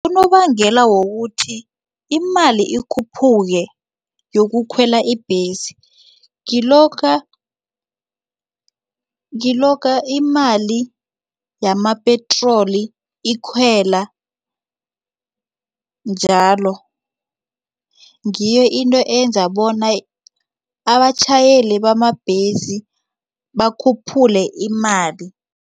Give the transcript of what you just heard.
Unobangela wokuthi imali ikhuphuke yokukhwela ibhesi ngilokha imali yamapetroli ikhwela njalo. Ngiyo into eyenza bona abatjhayeli bamabhesi bakhuphule imali.